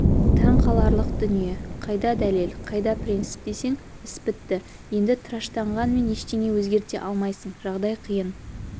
таңқаларлық дүние қайда дәлел қайда принцип десең іс бітті енді тыраштанғанмен ештеңе өзгерте алмайсың жағдай қиын